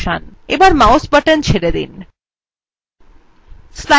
এখন mouse button ছেড়ে দিন